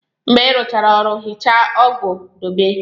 Mgbe ị rụchara ọrụ, hichaa ọgụ dobe.